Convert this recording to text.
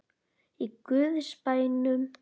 Í guðs bænum.